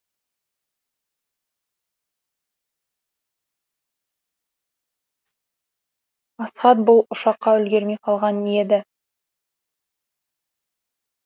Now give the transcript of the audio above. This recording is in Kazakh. асхат бұл ұшаққа үлгермей қалған еді